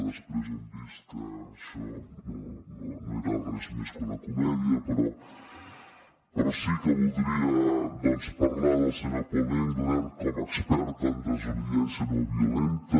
després hem vist que això no era res més que una comèdia però sí que voldria parlar del senyor paul engler com a expert en desobediència no violenta